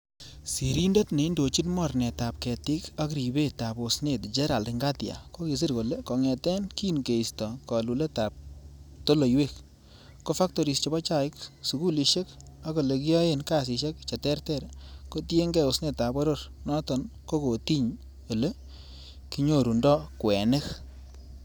Sirindet neindochi mornetab ketik ak ribetab osnet Gerald Ngatia kokisir kole kongeten kin keisto koluletab toloiwek, ko factoris chebo chaik, sukulisiek ak ele kiyoen kasisiek che terter kotienge osnetab boror noton kokotiny ele kinyorundoo kwenik.